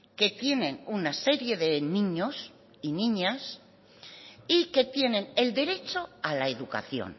que tienen una serie de niños y niñas y que tienen el derecho a la educación